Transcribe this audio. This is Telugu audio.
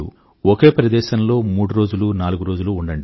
ఒకే ప్రదేశంలో మూడు నాలుగు రోజులు ఉండండి